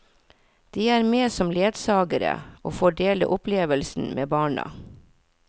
De er med som ledsagere, og får dele opplevelsen med barna.